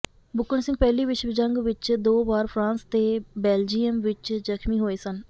ਬੁੱਕਣ ਸਿੰਘ ਪਹਿਲੀ ਵਿਸ਼ਵ ਜੰਗ ਵਿੱਚ ਦੋ ਵਾਰ ਫਰਾਂਸ ਤੇ ਬੈਲਜੀਅਮ ਵਿੱਚ ਜ਼ਖਮੀ ਹੋਏ ਸਨ